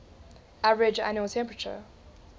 average annual temperature